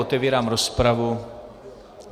Otevírám rozpravu.